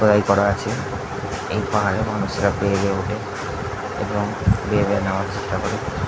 খোদাই করা আছে এই পাহাড়ে মানুষরা বেয়ে বেয়ে ওঠে এবং বেয়ে বেয়ে নামার চেষ্ট করে।